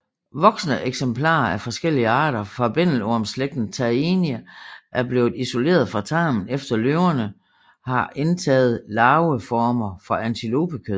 Voksne eksemplarer af forskellige arter fra bændelormslægten Taenia er blevet isoleret fra tarmen efter løverne har indtaget larveformer fra antilopekød